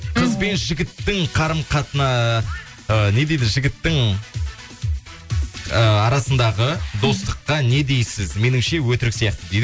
қыз бен жігіттің ыыы не дейді жігіттің ыыы арасындағы достыққа не дейсіз меніңше өтірік сияқты дейді